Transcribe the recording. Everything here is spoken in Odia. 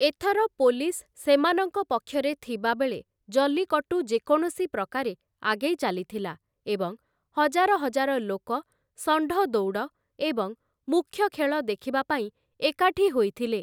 ଏଥର ପୋଲିସ୍‌ ସେମାନଙ୍କ ପକ୍ଷରେ ଥିବାବେଳେ ଜଲ୍ଲିକଟ୍ଟୁ ଯେକୌଣସି ପ୍ରକାରେ ଆଗେଇ ଚାଲିଥିଲା ଏବଂ ହଜାର ହଜାର ଲୋକ ଷଣ୍ଢ ଦୌଡ଼ ଏବଂ ମୁଖ୍ୟ ଖେଳ ଦେଖିବା ପାଇଁ ଏକାଠି ହୋଇଥିଲେ ।